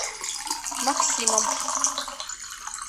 максимом